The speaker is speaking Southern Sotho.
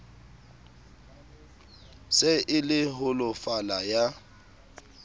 se e le holofala ya